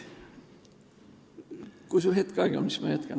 Kui sul on hetk aega, siis ma jätkan.